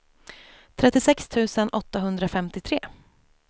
trettiosex tusen åttahundrafemtiotre